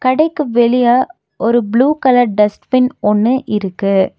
கடைக்கு வெளிய ஒரு ப்ளூ கலர் டஸ்ட்பின் ஒன்னு இருக்கு.